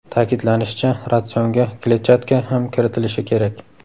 Ta’kidlanishicha, ratsionga kletchatka ham kiritilishi kerak.